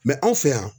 anw fɛ yan